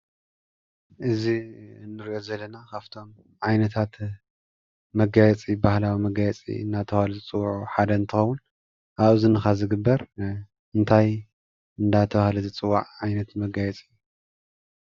እዚ እንሪኦ ዘለና ካብቶም ዓይነታት መጋየፂ ባህላዊ መጋየፂ እናተብሃሉ ዝፅዋዑ ሓደ እንትኸውን፤ አብ እዝንኻጨዝግበር ኸ እንታይ እናተብሃለ ዝፅዋዕ ዓይነት መጋየፂ እዩ?